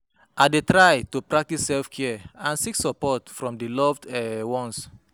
I dey try to practice self-care and seek support from di loved um ones.